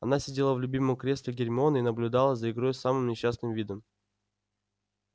она сидела в любимом кресле гермионы и наблюдала за игрой с самым несчастным видом